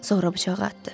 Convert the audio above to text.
Sonra bıçağı atdı.